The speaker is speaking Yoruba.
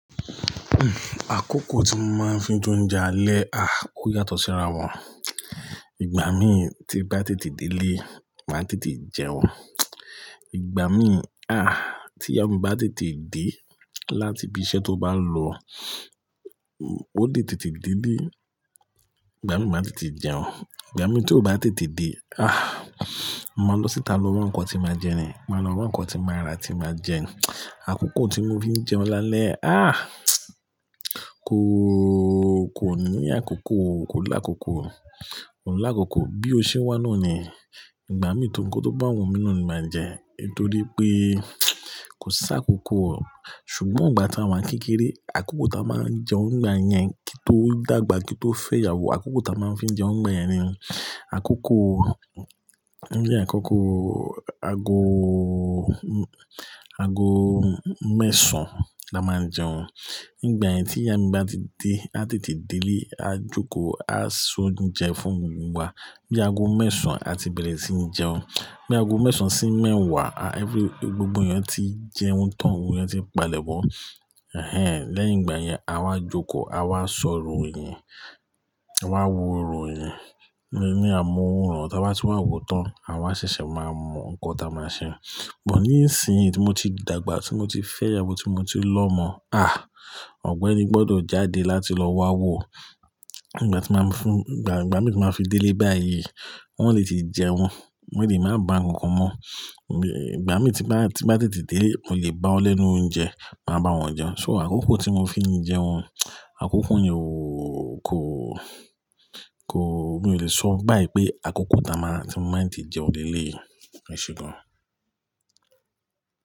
Àkókò tí mo máa ń fi jounjẹ alẹ́, a ó yàtọ̀ síra wọn. Ìgbà mí tí bá tètè délé, má tètè jẹun. Ìgbà mí, ah, tí ìyáwo mi bá tètè dé láti ibi iṣẹ́ tó bá lọ, ó lè tètè délé. Ìgbà mí má tètè jẹun. Ìgbà mí tí ó bá tètè dé, ah, mo máa lọ síta lọ wan nǹkan tí máa jẹ ni. Mo máa lọ wan nǹkan tí màá rà, tí màá jẹ. Àkókò tí mo fi jẹun lálẹ́, ah, kò, kò ní àkókò o, kò lákòókò o. Kò lákòókò. Bí ó ṣe wà náà ni Ìgbà mí nkán tó bá wù mí náà ni màá jẹ nitorí pé kò sá kòókò o. Ṣùgbọ́n ìgbà tí àwa kékeré, àkókò tí a máa ń jẹun ìgbà yẹn kí n tó dàgbà kí n tó fẹ́ ìyàwó, àkókò tí a máa ń fi jẹun ìgbà yẹn ni àkókò, ní àkókò aago, aago mẹ́sàn-án la máa ń jẹun. Ní ìgbà yẹn tí ìyá mi bá ti dé, a tètè délé, a jókòó, a so n jẹ fún gbogbo wa. Bí aago mẹ́sàn-án a ti bẹ̀rẹ̀ sí ní jẹun. Bí aago mẹ́sàn-án sì mẹ́wàá, a every-- gbogbo èèyàn tí jẹun tán, èèyàn tí ń palẹ̀ mọ́. Ẹ̀hẹn. Lẹ́yìn ìgbà yẹn, a wá jókòó, a wá sọrò ìyin, a wá wo orò ìyin ní amóunmáwòrán. Tí a bá ti wá wo tán, a wá ṣẹ̀ṣẹ̀ máa mọ nǹkan tí a máa ṣe. Bọ̀ ní ìsìn tí mo ti dàgbà, tí mo ti fẹ́ ìyàwó, tí mo ti lọ́ mọ̀, ah, ọ̀gbẹ́ni gbọ́dọ̀ jáde láti lọ wa wo. Ìgbà tí màá fún-- ìgbà mí tí màá fi délé báyìí, wọ́n lè tì jẹun, mo lè má bá nǹkan mọ́. Ìgbà mí tí bá, tí bá tètè dé, mó lè bá ọ lẹ́nu oúnjẹ, màá bá wọn jẹun. So àkókò tí mo fi ń jẹun, àkókò yẹn o kò, kò, mi ò lè sọ báyìí pé àkókò táa máa tí màá te jẹun lélé yi, ẹ̀ṣé gán.